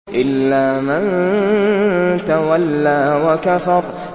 إِلَّا مَن تَوَلَّىٰ وَكَفَرَ